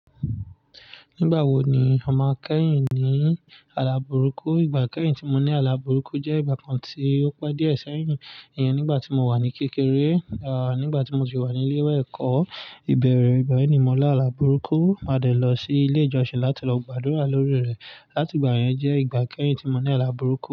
Nígbà wo ni a máa kẹ́yìn ní ala burúkú? Ìgbà kẹ́yìn tí mo ní ala burúkú jẹ́ ìgbà kan tí ó pá díẹ̀ sẹ́yìn. Iyen nígbà tí mo wà ní kékeré, nígbà tí mo si wà ní ilé ìwé ẹ̀kọ́, ìbẹ̀rẹ̀ igba yii ni mọ̀ lá ala burúkú, á dẹ̀ lọ sí ilé ìjọsìn láti lọ gbàdúrà lórí rẹ̀. Láti ìgbà yẹn jẹ́ ìgbà kẹ́yìn tí mo ní ala burúkú.